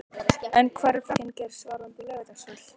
En hver er framtíðarsýn Geirs varðandi Laugardalsvöll?